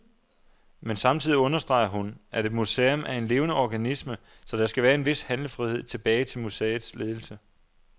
Men samtidig understreger hun, at et museum er en levende organisme, så der skal være en vis handlefrihed tilbage til museets ledelse.